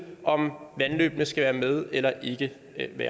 om vandløbene skal være med eller ikke det